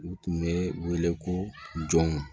U tun bɛ wele ko jɔnw